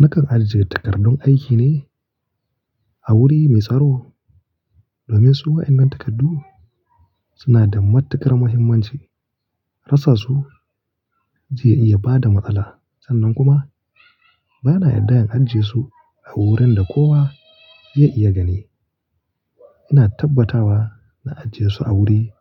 Nakan ajiye takardun aiki ne a wuri mai tsaro. Domin su wa'innan takardu suna da matuƙar muhimmanci. Rasa su zai iya bada matsala. Sannan kuma ba na yarda in ajiyesu a wurin da kowa zai iya gani. Ina tabbatawa na ajiye su a wuri